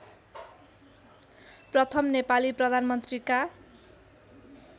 प्रथम नेपाली प्रधानमन्त्रीका